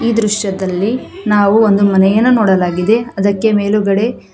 ಈ ದೃಶ್ಯದಲ್ಲಿ ನಾವು ಒಂದು ಮನೆಯನ್ನು ನೋಡಲಾಗಿದೆ ಅದಕ್ಕೆ ಮೇಲುಗಡೆ.